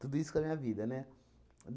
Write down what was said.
Tudo isso com a minha vida, né?